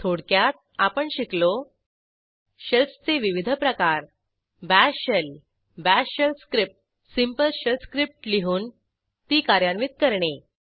थोडक्यात आपण शिकलो शेल्स चे विविध प्रकार bash shell bash shell script simple shell script लिहून ती कार्यान्वित करणे